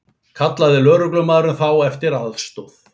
Kallaði lögreglumaðurinn þá eftir aðstoð